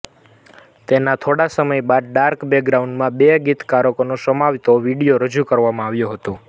તેના થોડા સમય બાદ ડાર્ક બેકગ્રાઉન્ડમાં બે ગીતકારોને સમાવતો વીડીયો રજૂ કરવામાં આવ્યો હતો